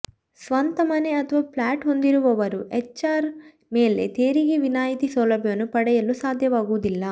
ಸ್ವಂತ ಮನೆ ಆಥವಾ ಫ್ಲ್ಯಾಟ್ ಹೊಂದಿರುವವರು ಎಚ್ಆರ್ಎ ಮೇಲೆ ತೆರಿಗೆ ವಿನಾಯಿತಿ ಸೌಲಭ್ಯವನ್ನು ಪಡೆಯಲು ಸಾಧ್ಯವಾಗುವುದಿಲ್ಲ